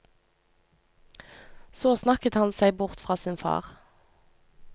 Så snakket han seg bort fra sin far.